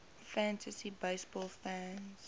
fantasy baseball fans